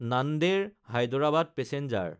Nanded Hyderabad passenger